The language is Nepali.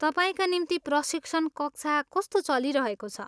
तपाईँका निम्ति प्रशिक्षण कक्षा कस्तो चलिरहेको छ?